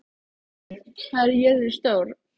Engilbjört, hvað er jörðin stór?